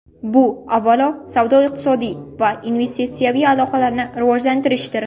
Bu, avvalo, savdo-iqtisodiy va investitsiyaviy aloqalarni rivojlantirishdir.